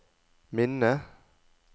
minne